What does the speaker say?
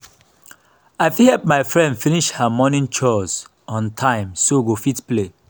i no know for you um oo but i wan cook for all um my neighbors today um